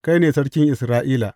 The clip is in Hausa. Kai ne Sarkin Isra’ila.